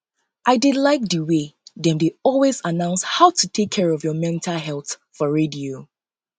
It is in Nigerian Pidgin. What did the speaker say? i dey like the um way dem dey always announce about how to take care of your um mental health for radio